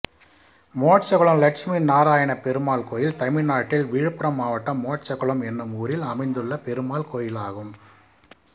மோட்சகுளம் லட்சுமிநாராயணப்பெருமாள் கோயில் தமிழ்நாட்டில் விழுப்புரம் மாவட்டம் மோட்சகுளம் என்னும் ஊரில் அமைந்துள்ள பெருமாள் கோயிலாகும்